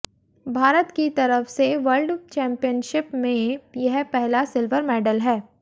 भारत की तरफ से वर्ल्ड चैंपियनशिप में यह पहला सिल्वर मेडल है